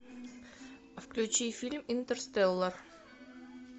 включи фильм интерстеллар